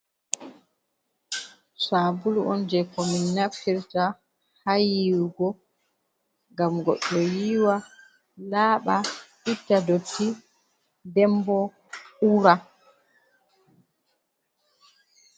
Sabulu on je ko min nafirta ha yuwugo ngam goɗɗo yiiwa laɓa itta dotti, nden bo ura.